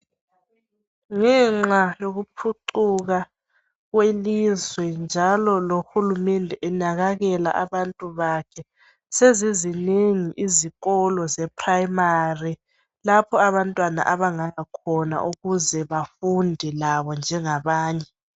Ngenxa yokuphucuka kwelizwe njalo lohulumende enakalela abantu bakhe, sezizinengi izikolo zeprimary lapho abantwana abangaya khona ukuze bafunde labo njengabanye.